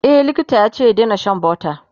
e likita yace ya Daina Shan butter